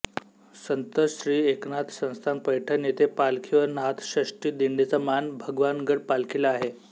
संत श्री एकनाथ संस्थान पैठण येथे पालखी व नाथषष्ठी दिंडीचा मान भगवानगड पालखीला आहे